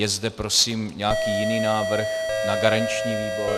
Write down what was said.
Je zde prosím nějaký jiný návrh na garanční výbor?